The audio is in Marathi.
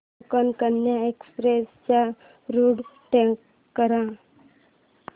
कोकण कन्या एक्सप्रेस चा रूट ट्रॅक कर